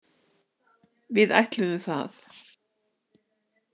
Við ætluðum það.